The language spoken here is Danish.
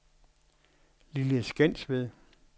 Lille Skensved